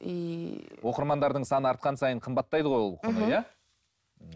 иии оқырмандардың саны артқан сайын қымбаттайды ғой ол